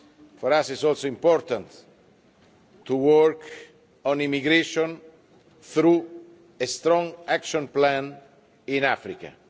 For us it is also important to work on immigration through a strong action plan in Africa.